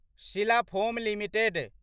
Sheela foam limited